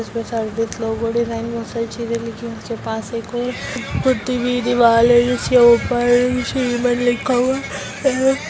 Special बहुत लोगो ने अच्छी तरह लिखी उसके पास एक और पुती हुई दीवाल है जिसके ऊपर श्री मन लिखा हुआ है।